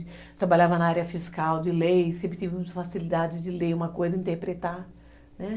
Eu trabalhava na área fiscal, de lei, sempre tive uma facilidade de ler uma coisa, interpretar, né?